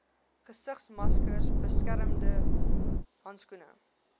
gesigsmaskers beskermende handskoene